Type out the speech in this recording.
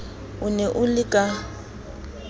o ne o le ka